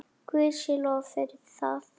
Guði sé lof fyrir það.